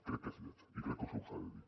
crec que és lleig i crec que se us ha de dir